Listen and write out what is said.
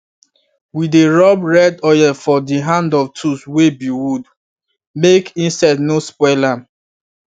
we dey rub red oil for the hand of tools wey be wood make insect no spoil am